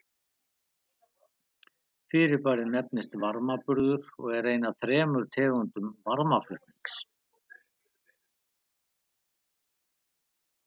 Fyrirbærið nefnist varmaburður og er ein af þremur tegundum varmaflutnings.